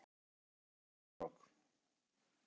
Var fjölmennt lið sent á vettvang